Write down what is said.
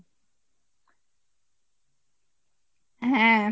হ্যাঁ